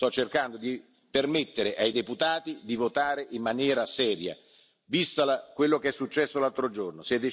Io sto cercando di permettere ai deputati di votare in maniera seria, visto quello che è successo l'altro giorno.